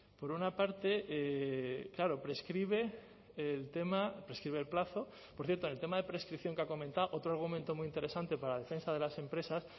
por una parte claro prescribe el tema prescribe el plazo por cierto en el tema de prescripción que ha comentado otro argumento muy interesante para la defensa de las empresas